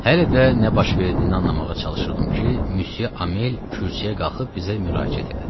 Hələ də nə baş verdiyini anlamağa çalışırdım ki, Müsyə Amel kürsüyə qalxıb bizə müraciət elədi.